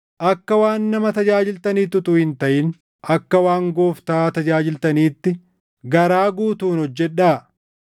Akka waan nama tajaajiltaniitti utuu hin taʼin akka waan Gooftaa tajaajiltaniitti garaa guutuun hojjedhaa;